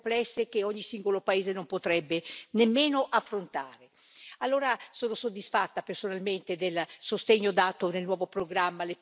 Allora, sono soddisfatta, personalmente, del sostegno dato nel nuovo programma alle piccole e medie imprese, parte essenziale dell'economia europea e di quella italiana.